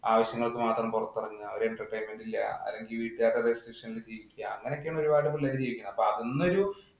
ആവശ്യങ്ങൾക്ക് മാത്രം പുറത്തിറങ്ങുക, ഒരു entertainment ഇല്ല. അല്ലെങ്കില്‍ വീട്ടുകാരുടെ permission ഇല്‍ ജീവിക്കുക. അങ്ങനെയൊക്കെയാണ് ഒരുപാട് പിള്ളേര് ജീവിക്കുന്നത്. അപ്പൊ അതൊന്നും ഒരു